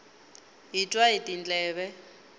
hi twa hi tindleve